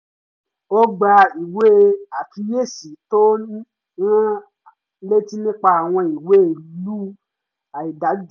ó gba ìwé àkíyési tó ń rán an létí nípa àwọn ìwé ìlú àìdájọ